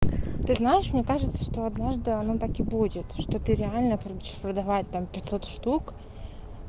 ты знаешь мне кажется что однажды оно так и будет что ты реально получишь продавать там пятьсот штук